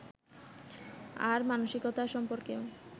আর মানসিকতা সম্পর্কেও